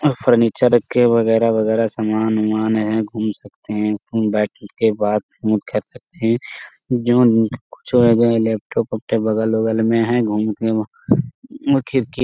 यहां फर्नीचर रखे हैं वगैरा-वगैरा समान उमान है घूम सकते हैं लैपटॉप उपटॉप बगल उगल में हैं घूम के वह खिड़की --